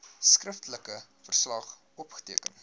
skriftelike verslag opgeteken